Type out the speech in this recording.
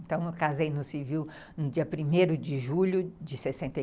Então, eu casei no civil no dia primeiro de julho de sessenta